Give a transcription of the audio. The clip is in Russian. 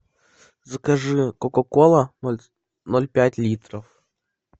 закажи кока кола ноль пять литров